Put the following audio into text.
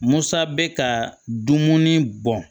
Musa bɛ ka dumuni bɔ